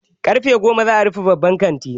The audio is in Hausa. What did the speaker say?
Karfe goma za'a rufe babban kantin.